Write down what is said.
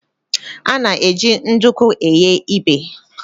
A na-eji nduku eghe ibè.